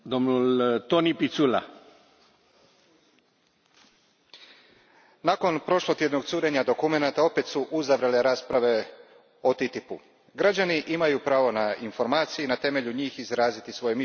Gospodine predsjedniče, nakon prošlotjednog curenja dokumenata opet su uzavrle rasprave o TTIP u. Građani imaju pravo na informacije i na temelju njih izraziti svoje mišljenje.